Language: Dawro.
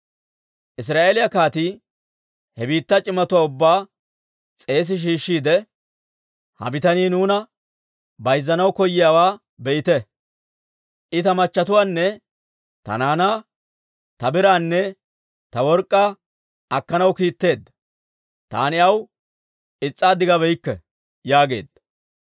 Israa'eeliyaa kaatii he biittaa c'imatuwaa ubbaa s'eesi shiishshiide, «Ha bitanii nuuna bayzzanaw koyiyaawaa be'ite. I ta machatuwaanne ta naanaa, ta biraanne ta work'k'aa akkanaw kiitteedda; taani aw is's'abeykke» yaageedda.